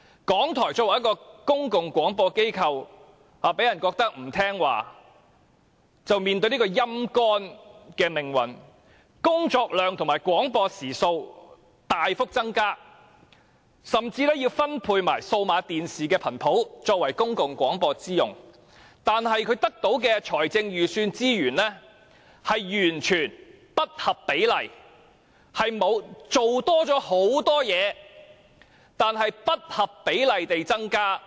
港台作為公共廣播機構，被人感覺不聽話便面對被"陰乾"的命運，工作量和廣播時數大幅增加，甚至分配了數碼電視頻譜作為公共廣播之用，但港台得到的財政預算資源卻完全不合比例，雖然工作多了很多，但資源卻不合比例地增加。